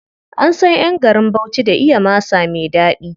An san ƴan garin Bauchi da iya masa me ɗaɗi.